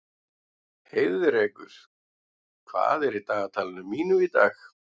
Heiðrekur, hvað er í dagatalinu mínu í dag?